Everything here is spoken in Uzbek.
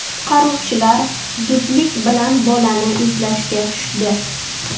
Qutqaruvchilar zudlik bilan bolani izlashga tushdi.